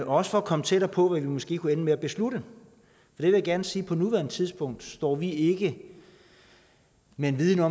også for at komme tættere på hvad vi måske kunne ende med at beslutte jeg vil gerne sige at på nuværende tidspunkt står vi ikke med en viden